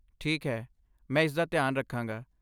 ਠੀਕ ਹੈ, ਮੈਂ ਇਸਦਾ ਧਿਆਨ ਰੱਖਾਂਗਾ।